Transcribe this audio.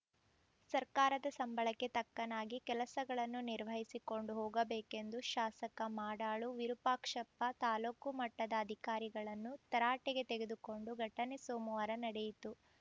ಸರ್ಕಾರದ ಸಂಬಳಕ್ಕೆ ತಕ್ಕನಾಗಿ ಕೆಲಸಗಳನ್ನು ನಿರ್ವಹಿಸಿಕೊಂಡು ಹೋಗಬೇಕೆಂದು ಶಾಸಕ ಮಾಡಾಳು ವಿರೂಪಾಕ್ಷಪ್ಪ ತಾಲೂಕು ಮಟ್ಟದ ಅಧಿಕಾರಿಗಳನ್ನು ತರಾಟೆಗೆ ತೆಗೆದುಕೊಂಡ ಘಟನೆ ಸೋಮವಾರ ನಡೆಯಿತು